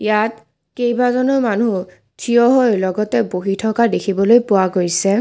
ইয়াত কেইবাজনো মানুহ থিয়হৈ লগতে বহি থকা দেখিবলৈ পোৱা গৈছে।